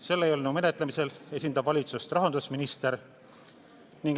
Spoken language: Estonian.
Selle eelnõu menetlemisel esindab valitsust rahandusminister.